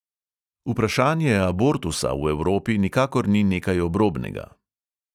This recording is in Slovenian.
Vprašanje abortusa v evropi nikakor ni nekaj obrobnega.